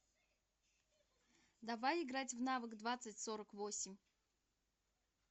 давай играть в навык двадцать сорок восемь